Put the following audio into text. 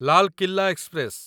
Lal Qila express